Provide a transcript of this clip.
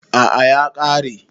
A'a ya kare.